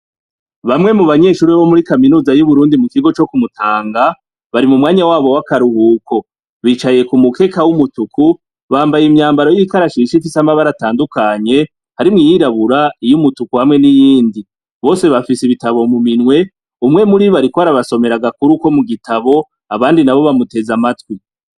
Bamwe mu banyeshuri bomuri kaminuza yu Burundi mu kigo co ku mutanga bari mu mwanya wabo wakaruhuko bicaye ku mukeka w'umutuku bambaye imyambaro yibikarashishi ifise amabara atandukanye harimwo iyirabura iyumutuku hamwe n'iyindi bose bafise ibitabo mu minwe umwe muribi ariko arabasomera agakuru ko mu gitabo abandi nabo bamuteze amatwi.